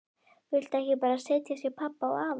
Viltu ekki bara setjast hjá pabba og afa?